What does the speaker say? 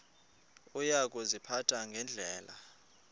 uya kuziphatha ngendlela